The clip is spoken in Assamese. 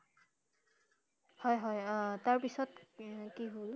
হয় হয় আহ তাৰ পিছত কি হল?